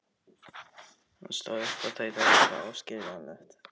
Hann stóð upp og tautaði eitthvað óskiljanlegt.